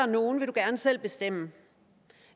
nogen vil du gerne selv bestemme